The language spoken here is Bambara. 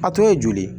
A tun ye joli ye